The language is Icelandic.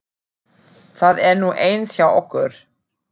Það er nú eins hjá okkur.